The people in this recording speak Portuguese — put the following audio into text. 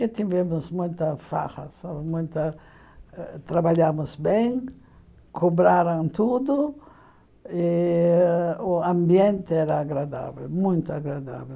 E tivemos muita farra, muita trabalhamos bem, cobraram tudo, e o ambiente era agradável, muito agradável.